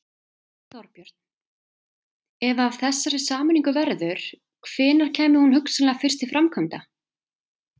Gunnar Atli: Sjö milljónir sem þú þarft að skera niður um þá væntanlega eða?